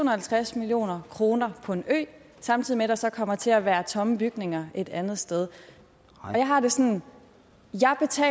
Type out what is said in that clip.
og halvtreds million kroner på en ø samtidig med at der så kommer til at være tomme bygninger et andet sted jeg har det sådan